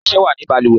Ọsẹ wa ni balùwẹ́